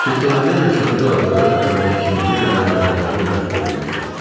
Cırtanların yaşadığı adada əvvəlki kimi yenə də qayda-qanun bərpa olunmuşdu.